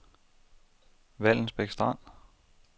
Vallensbæk Strand